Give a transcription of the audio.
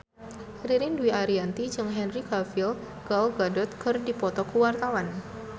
Ririn Dwi Ariyanti jeung Henry Cavill Gal Gadot keur dipoto ku wartawan